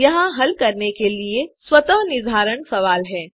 यहाँ हल करने के लिए आपके लिए कुछ स्वतः निर्धारण सवाल हैं